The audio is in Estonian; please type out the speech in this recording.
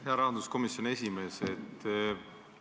Hea rahanduskomisjoni esimees!